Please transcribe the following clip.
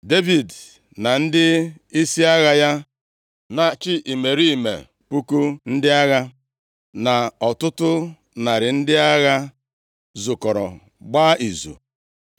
Devid na ndịisi agha ya na-achị imerime puku ndị agha, na ọtụtụ narị ndị agha, zukọrọ gbaa izu.